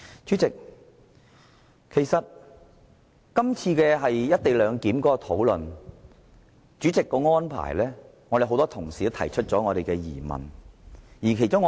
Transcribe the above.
主席就這次討論有關"一地兩檢"《條例草案》所作的安排，已令很多同事提出疑問。